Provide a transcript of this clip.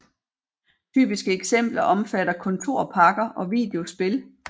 Typiske eksempler omfatter kontorpakker og videospil